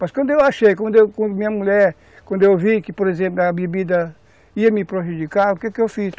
Mas quando eu achei, quando a minha mulher, quando eu vi que, por exemplo, a bebida ia me prejudicar, o que que eu fiz?